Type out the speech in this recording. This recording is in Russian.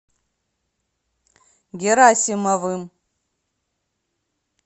герасимовым